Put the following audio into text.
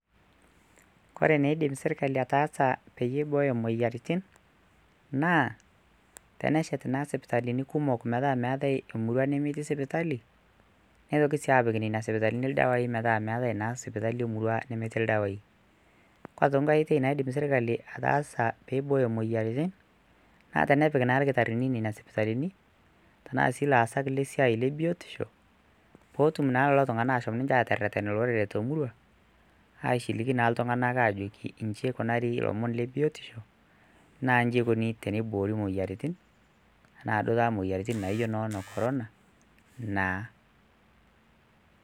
kore eneidim sirkali ataasa peyie eibooyo moyiaritin naa teneshet naa sipitalini kumok metaa meetae emurua nemetii sipitali netoki sii apik nena sipitalini ildewai metaa meetae naa sipitali emurua nemetii ildawai kore aitoki nkae eitei naidim sirkali ataasa peibooyo moyiaritin naa tenepik naa irkitarrini nena sipitalini tenaa sii ilaasak lesiai le biotisho potum naa lolo tung'anak ashom ninche aterreten olorere tomurua aishiliki naa iltung'anak ajoki inji ikunari ilomon le biotisho naa inji ikoni teniboori moyiaritin enaduo taa moyiaritin naijo ino nocorona naa.